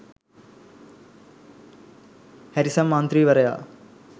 Harrison මන්ත්‍රීවරයා